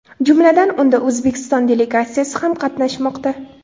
Jumladan, unda O‘zbekiston delegatsiyasi ham qatnashmoqda.